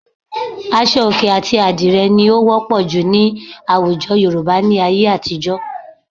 Aṣọ òkè àti àdìrẹ ni ó wọ́pọ̀ jù ní àwùjọ Yorùbá ní ayé àtijọ́